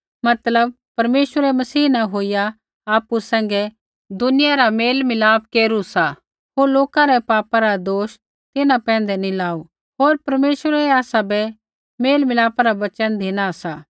मतलब परमेश्वरै मसीह न होईया आपु सैंघै दुनिया रा मेलमिलाप केरू सा होर लोका रै पापा रा दोष तिन्हां पैंधै नैंई लाऊ होर परमेश्वरै आसाबै मेलमिलापा रा वचन धिना सा